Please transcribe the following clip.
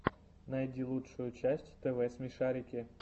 найди лучшую часть тв смешарики